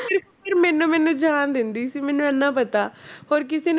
ਪਰ ਮੈਨੂੰ ਮੈਨੂੰ ਜਾਣ ਦਿੰਦੀ ਸੀ ਮੈਨੂੰ ਇੰਨਾ ਪਤਾ ਹੋਰ ਕਿਸੇ